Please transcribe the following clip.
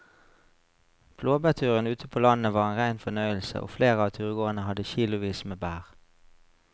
Blåbærturen ute på landet var en rein fornøyelse og flere av turgåerene hadde kilosvis med bær.